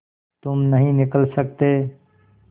तुम नहीं निकल सकते